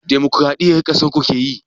Dimukuraɗiyya ƙasarku keyi?